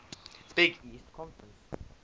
big east conference